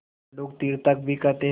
मंडूक तीर्थक भी कहते हैं